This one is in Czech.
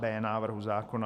b) návrhu zákona.